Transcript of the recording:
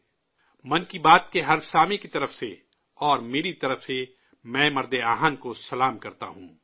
'من کی بات' کے ہر سامعین کی طرف سے، اور میری طرف سے، میں آئرن مین کو نمن کرتا ہوں